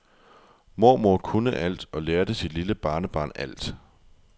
Mormor kunne alt og lærte sit lille barnebarn alt.